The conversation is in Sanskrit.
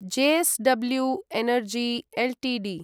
JSW energy Ltd